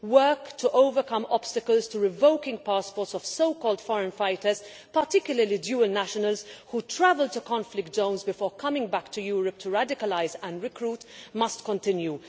Work to overcome obstacles to revoking passports of so called foreign fighters' particularly dual nationals who travel to conflict zones before coming back to Europe to radicalise and recruit must continue.